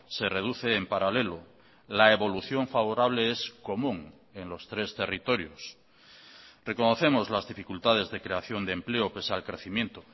se reduce en paralelo la evolución favorable es común en los tres territorios reconocemos las dificultades de creación de empleo pese al crecimiento